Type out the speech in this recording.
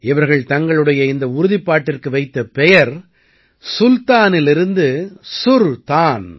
இவர்கள் தங்களுடைய இந்த உறுதிப்பாட்டிற்கு வைத்த பெயர் சுல்தானிலிருந்து சுர் தான்